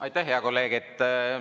Aitäh, hea kolleeg!